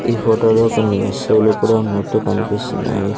ఈ ఫోటో లో కొన్ని వస్తువులు కూడా ఉన్నట్టు కనిపిస్తున్నాయి.